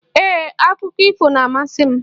Ee, Akụkọ ifo na-amasị m